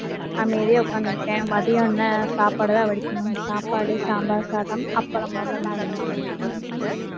அமைதியா உட்கார்ந்து இருக்கேன். மதியம்னா, சாப்பாடுதான் வடிக்கணும். சாப்பாடு, சாம்பார் சாதம், அப்பளம் அவ்வளவுதான்.